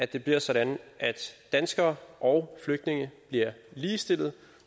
det bliver sådan at danskere og flygtninge bliver ligestillet